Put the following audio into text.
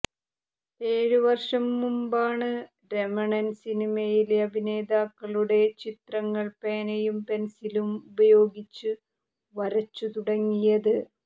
ഏഴു വർഷം മുമ്പാണ് രമണൻ സിനിമയിലെ അഭിനേതാക്കളുടെ ചിത്രങ്ങൾ പേനയും പെൻസിലും ഉപയോഗിച്ച് വരച്ചു തുടങ്ങിയത്